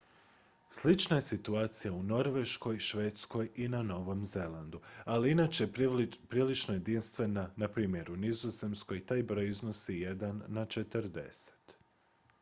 slična je situacija u norveškoj švedskoj i na novom zelandu ali inače je prilično jedinstvena npr. u nizozemskoj taj broj iznosi jedan na četrdeset